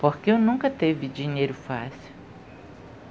Porque eu nunca teve dinheiro fácil.